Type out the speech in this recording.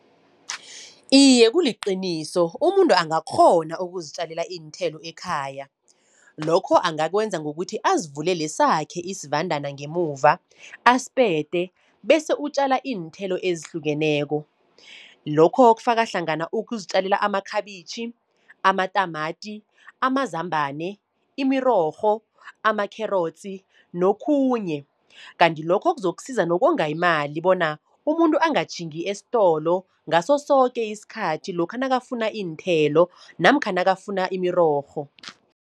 Iye kuliqiniso, umuntu angakghona ukuzitjalela iinthelo ekhaya. Lokho angakwenza ngokuthi azivulele sakhe isivandana ngemuva, asipete bese utjala iinthelo ezihlukeneko. Lokho kufaka hlangana ukuzitjalela amakhabitjhi, amatamati, amazambane, imirorho, amakherotsi, nokhunye. Kanti lokho kuzokusiza nokonga imali bona umuntu angatjhingi esitolo ngaso soke isikhathi, lokha nakafuna iinthelo namkha nakafuna imirorho.